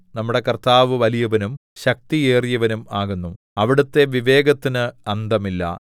നമ്മുടെ കർത്താവ് വലിയവനും ശക്തിയേറിയവനും ആകുന്നു അവിടുത്തെ വിവേകത്തിന് അന്തമില്ല